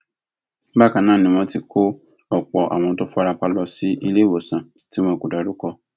bákan náà ni wọn ti kó ọpọ àwọn tó fara pa lọ sí iléewòsàn tí wọn kò dárúkọ